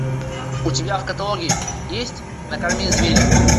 у тебя в каталоге есть накорми зверя